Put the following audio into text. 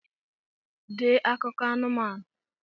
Dee akụkọ anumanu!